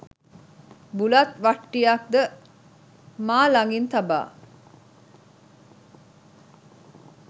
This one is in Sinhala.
බුලත් වට්ටියක් ද මා ලගින් තබා